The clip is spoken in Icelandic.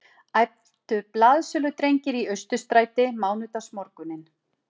æptu blaðsöludrengir í Austurstræti mánudagsmorguninn